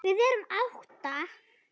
Við erum átta.